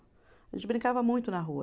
A gente brincava muito na rua.